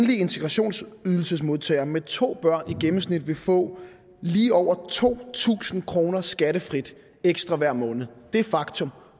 enlig integrationsydelsesmodtager med to børn i gennemsnit vil få lige over to tusind kroner skattefrit ekstra hver måned det er et faktum